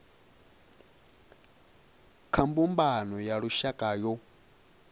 kha mbumbano ya lushaka yo